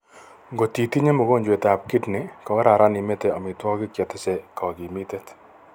Ngotitinye mogonjwet ap kidney kokararan imete amitwagik chetese kakimitet